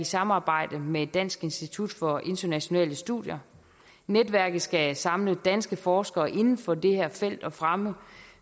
samarbejde med dansk institut for internationale studier netværket skal samle danske forskere inden for det her felt og fremme